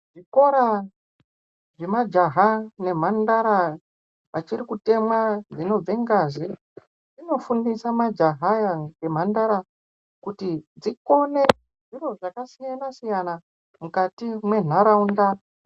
Zvikora zvemajaya nemhandara vachiri kutemwa dzinobve ngazi zvinofundisa majaya aya nemhandara kuti dzikone zviro zvakasiyana siyana mukati mwenharaunda.